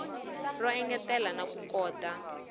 ro engetela na ku kota